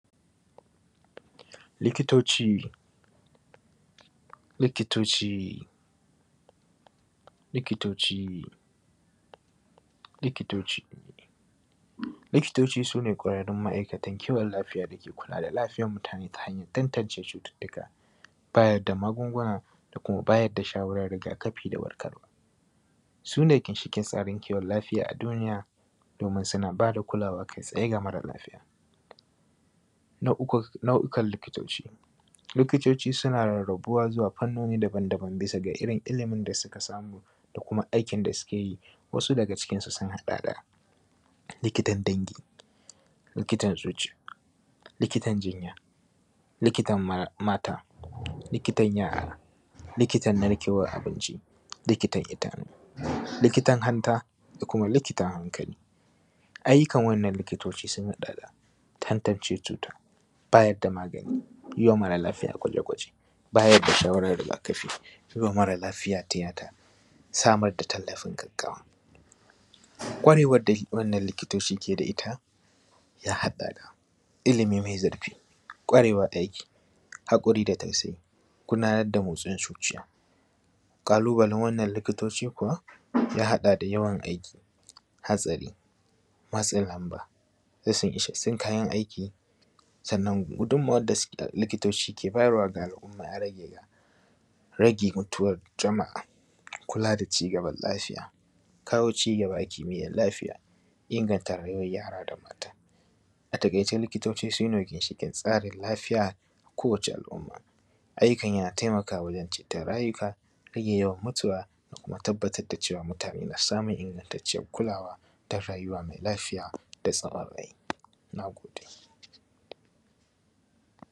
Likitoci, likitoci, likitoci, likitoci. Likitoci, Likitoci su ne ƙwararrun ma'aikata kiwon lafiya da ke kula da lafiyar mutane ta hanyar tantance cututtuka, bayar da magunguna, da kuma bayar da shawarar riga-kafi da warkarwa. Su ne ginshiƙin tsarin kiwon lafiya a duniya, domin suna ba da kulawa kai-tsaye ga mara lafiya. Nau’uka, nau’ukan likitoci. Likitoci suna rarrabuwa zuwa fannoni daban-daban bisa ga irin ilimin da suka samu, da kuma aikin da suke yi. Wasu daga cikinsu sun haɗa da, likitan dangi; likitan zuciya; likitan jinya; likitan ma, mata; likitan yara; likitan narkewan abinci; likitan idanu; likitan hanta; da kuma likitan hankali. Ayyukan wannan likitoci sun haɗa da, tantance cuta; bayar da magani; yi wa mara lafiya gwaje-gwaje; bayar da shawarar riga-kafi; yi wa mara lafiya tiyata; samar da tallafin gaggawa. Ƙwarewar da wannan likitoci ke da ita, ya haɗa da, ilimi mai zurfi; ƙwarewar aiki; haƙuri da tausayi; gudanar da motsin zuciya. Ƙalubalen wannan likitoci kuwa, ya haɗa da yawan aiki; hatsari; matsin lamba; rashin isassun kayan aiki. Sannan gudummawar da su, likitoci ke bayarwa ga al'umma ya rage ga, rage mutuwar jama'a; kula da cigaban lafiya; kawo cigaba a kimiyyar lafiya; inganta rayuwar yara da mata. A taƙaice, likitoci su ne ginshiƙin tsarin lafiya ga kowace al'umma. Ayyukan yana taimakawa wajen ceton rayuka; rage yawan mutuwa; da kuma tabbatar da cewa mutane na samun ingantaccen kulawa ta rayuwa mai lafiya da tsaron rai. Na gode